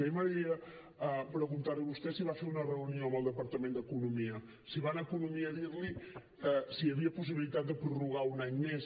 a mi m’agradaria preguntar li a vostè si va fer una reunió amb el departament d’economia si va anar a economia a dir li si hi havia possibilitat de prorrogar un any més